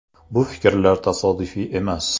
Bu fikrlar tasodifiy emas.